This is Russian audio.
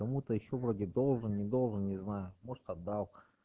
кому-то ещё вроде должен не должен не знаю может отдал